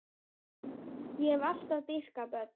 Ég hef alltaf dýrkað börn.